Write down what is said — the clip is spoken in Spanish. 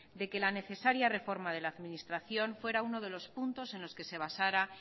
de que la necesaria reforma de la administración fuera uno de los puntos en los que se basara